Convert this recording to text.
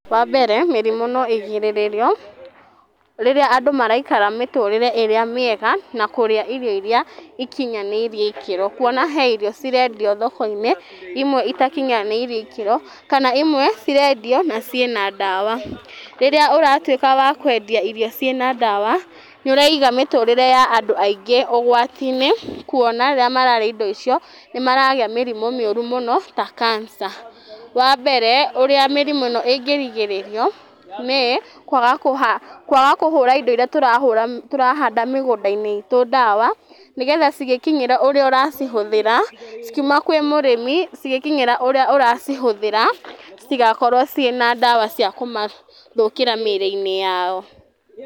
Wambere mĩrimũ no ĩgirĩrĩrio rĩrĩa andũ maraikara mĩtũrĩre ĩrĩa mĩega, na kũrĩa irio iria ikinyanĩirie ikĩro, kuona he irio cirendio thoko-inĩ imwe itakinyanĩirie ikĩro, kana imwe irendio na ciana ndawa, rĩrĩa ũratuĩka wa kwendia irio ciana ndawa nĩ ũraiga mĩtũrĩre ya andũ aingĩ ũgwati-inĩ, kũona rĩrĩa mararia irio icio, nĩ maragĩa mĩrimũ mĩũru mũno ta cancer. Wambere ũrĩa mĩrimũ ĩno ĩngĩrigĩrĩrio, nĩ kwaga kũhũra indo iria tũrahanda mĩgũnda-inĩ itũ ndawa, nĩgetha cigĩkinyara ũrĩa ũracihũthĩra, cikĩuma kwĩ mũrĩmi cigĩkinyĩra ũrĩa ũracihũthĩra, citigakorwo ciĩna ndawa cia kũmathũkĩra mĩrĩ-inĩ yao.